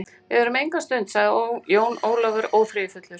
Við verðum enga stund, sagði Jón Ólafur óþreyjufullur.